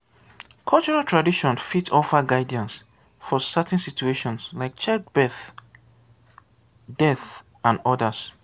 cultural tradition fit bring money come di country when pipo come for cultural tourism